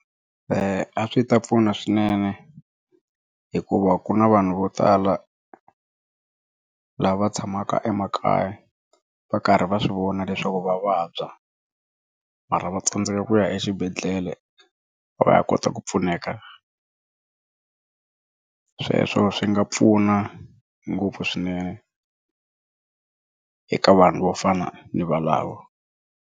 A swi ta pfuna swinene hikuva ku na vanhu vo tala lava tshamaka emakaya va karhi va swi vona leswaku va vabya mara va tsandzeka ku ya exibedhlele va ya kota ku pfuneka sweswo swi nga pfuna ngopfu swinene eka vanhu vo fana ni valava.